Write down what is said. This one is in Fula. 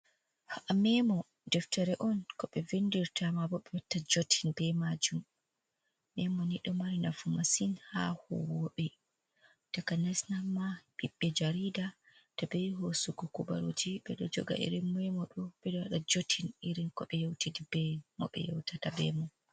Memo, deftere on ko 6e vindirta maa boh 6e watta jotin beh maajum, Memo ni đo mari nafu masin haa huuwoobe takanas, amma 6i66e Jariida to 6e yehi hoosugo kubaruuji 6eđo joga iri Memo đo 6eđo wađa jotin iri ko 6e yeutidi beh mo 6e yeutata beh mum.